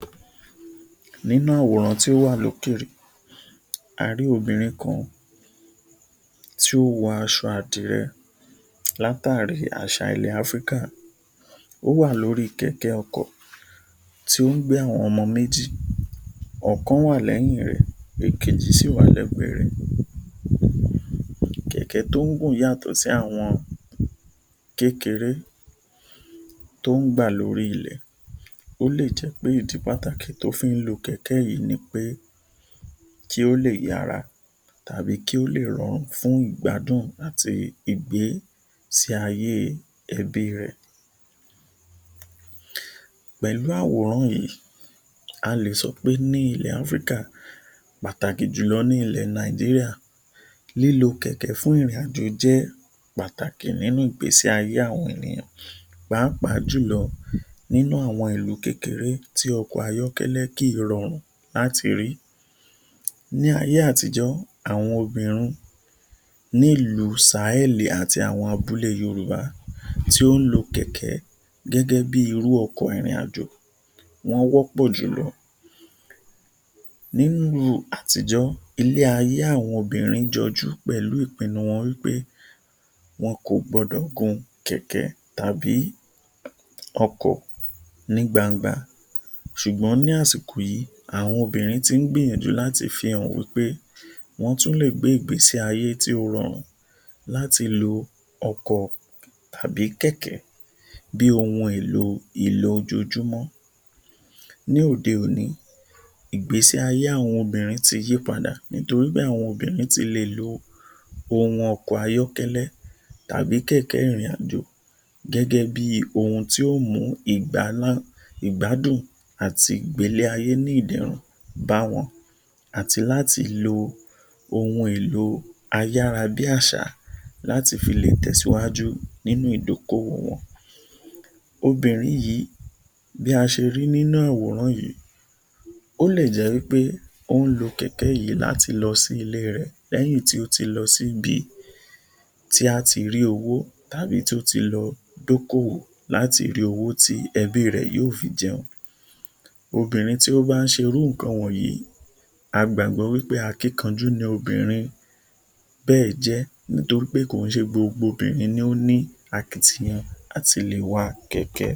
Nínú àwòrán tí o wà lókè, a rí obìnrin kan tí ó wọ aṣọ àdìrẹ látàrí àṣà ilẹ̀ Áfíríkà, ó wà lórí kẹ̀kẹ́ ọkọ̀ tí ó ń gbé àwọn ọmọ méjì. Ọ̀kan wà lẹ́yìn rẹ̀, ọ̀kan kejì sì wà lẹ́gbẹ̀ rẹ̀, kẹ̀kẹ́ tí ó ń gùn yàtọ̀ sí àwọn kékeré tí ó gbà lórí ilẹ̀, ó lè jẹ́ pé ìdí pàtàkì tí ó fi ń lo kẹ̀kẹ́ yìí ni pé kó lè yára tàbí kí ó lè rọrùn fún ìgbádùn àti Ìgbésẹ̀ ayé ẹbí rẹ̀. Pẹ̀lú àwòrán yìí, a lè sọ wí pé ní ilẹ̀ Áfíríkà pàtàkì jùlọ ní ilẹ̀ Nàìjíríà lílo kẹ̀kẹ́ fún ìrìn-àjò jẹ́ pàtàkì nínú Ìgbésẹ̀ ayé àwọn ènìyàn pàápàá jùlọ nínú àwọn ìlú kékeré tí ọkọ̀ ayọ́kẹ́lẹ́ kì í rọrùn láti rí. Ní ayé àtíjọ́ àwọn obìnrin ní ìlú um àti àwọn abúlé Yorùbá tí ó ń lo kẹ̀kẹ́ gẹ́gẹ́ bíi irú ọkọ̀ ìrìn-àjò wọ́n wọ́pọ̀ jùlọ. Nínú àtíjọ́ ilé ayé àwọn obìnrin jọjú pẹ̀lú ìpínu wọn wí pé wọn kò gbọdọ̀ gun kẹ̀kẹ́ tàbí ọkọ̀ ní gbangba, ṣùgbọ́n ní àsìkò yìí àwọn obìnrin tí ń gbìyànjú láti fi hàn wí pé wọ́n tún lè gbé Ìgbésé ayé tí ó rọrùn láti lo ọkọ̀ tàbí kẹ̀kẹ́ bí ohun èlo ojojúmọ́, ní òde òní Ìgbésé ayé àwọn obìnrin tí yí padà nítorí àwọn obìnrin ti lè lo ọkọ̀ ayọ́kẹ́lẹ́ tàbí kẹ̀kẹ́ ìrìn-àjò gẹ́gẹ́ bí ohun tí ó mú ìgbádùn àti ìgbé ilé ayé ní ìdẹ̀rùn báwọn àti láti lo ohun èlò ayára bí àṣá láti fi lè tẹ̀sìwájú nínú ìdí oko owò wọn. Obìnrin yìí bí a ṣe ri nínú àwòrán yìí, ó lè jẹ́ wí pé ó ń lo kẹ̀kẹ́ yìí láti fi lọ sí ilé rẹ̀ lẹ́yìn tí ó lọ sí ibi tí a ti rí owó tàbí tí ó ti lọ dí oko owò láti rí owó tí ẹbí rẹ̀ yóò fi jẹun. Obìnrin tí ó bá ń ṣe irú nǹkan wọ̀nyìí a gbàgbọ́ pé akínkanjú ni obìnrin bẹ́ẹ̀ jẹ́ nítorí pé kò kí n ṣe gbogbo obìnrin ni ó ní akitiyan láti lè wa kẹ̀kẹ́